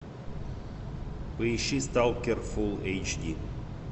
поищи сталкер фул эйч ди